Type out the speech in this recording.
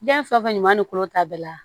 Diɲɛ fɛn o fɛn ɲuman ni kolo ta bɛɛ la